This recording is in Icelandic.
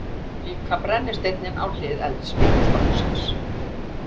Líka brennisteininn á hlið eldspýtnastokksins.